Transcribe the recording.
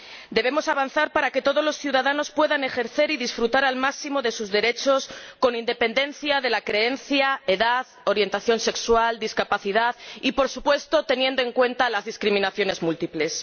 Debemos avanzar para que todos los ciudadanos puedan ejercer y disfrutar al máximo de sus derechos, con independencia de la creencia, edad, orientación sexual, discapacidad y, por supuesto, teniendo en cuenta las discriminaciones múltiples.